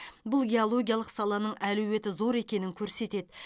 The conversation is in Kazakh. бұл геологиялық саланың әлеуеті зор екенін көрсетеді